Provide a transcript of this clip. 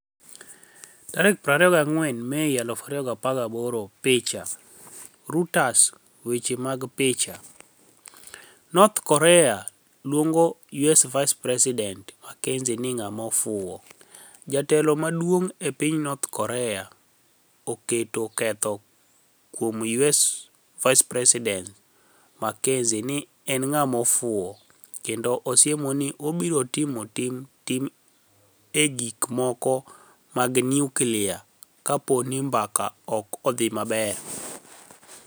24 Mei 2018 Picha, Reuters Weche mag picha, north Korea luonigo US Vice Presidenit Makenizi nii 'nig'ama ofuwo' Jatelo moro maduonig' e piniy north Korea oketo ketho kuom US Vice Presidenit Makenizi nii eni 'nig'ama ofuwo' kenido osiemo nii ibiro tim tim timni e gik moko mag niyuklia kapo nii mbaka ok odhi maber.